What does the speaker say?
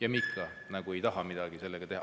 Aga me ikka nagu ei taha sellega midagi teha.